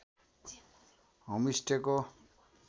home stay को